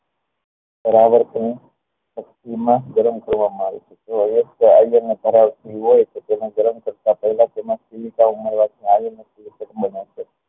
બરાબર યાપેલી માં ગરમ કરવા માં આવે છે હોય તો તેને ગરમ કરતા પહેલા તેમાં થી